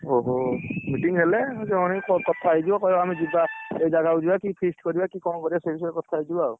ଓହୋ meeting ହେଲେ ଜଣେଇକି କଥା ହେଇଯିବ କହିବ ଆମେ ଯିବା ଏଇ ଜାଗା କୁ ଯିବା କି feast କରିବା କି କଣ କରିବା? ସେଇବିଷୟରେ କଥାହେଇଯିବ ଆଉ